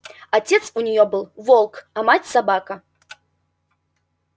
отец у неё был волк а мать собака